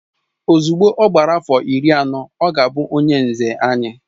Ozugbo ọ gbara afọ iri anọ, ọ ga-abụ onye nze anyị